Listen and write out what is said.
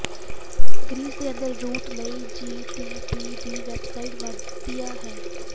Greece ਦੇ ਅੰਦਰ route ਲਈ ਜੀਟੀਪੀ ਦੀ ਵੈੱਬਸਾਈਟ ਵਧੀਆ ਹੈ